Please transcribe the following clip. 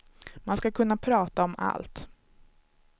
Man ska kunna prata om allt.